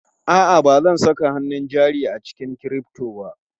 A'a, ba zan saka hannun jari a cikin crypto ba.